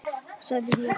sagði ég.